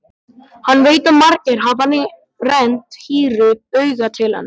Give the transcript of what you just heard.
Hann veit að margir hafa rennt hýru auga til hennar.